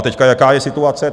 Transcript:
A teď, jaká je situace.